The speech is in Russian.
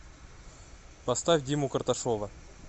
поставь диму карташова